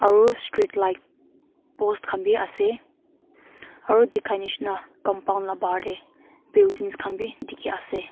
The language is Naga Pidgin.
aru street light post khan b ase aru dikhai nishena compound la bahar de buildings khan b dikhi ase.